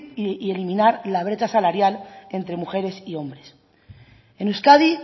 y eliminar la brecha salarial entre mujeres y hombres en euskadi